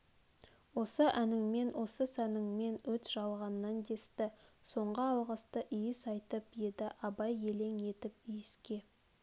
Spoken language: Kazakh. осы әніңмен осы сәніңмен өт жалғаннан десті соңғы алғысты иіс айтып еді абай елең етіп иіске